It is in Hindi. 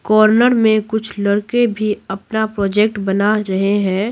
कॉर्नर में कुछ लड़के भी अपना प्रोजेक्ट बना रहे हैं।